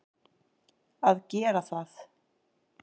að gera það.